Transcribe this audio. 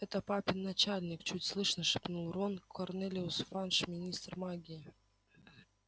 это папин начальник чуть слышно шепнул рон корнелиус фадж министр магии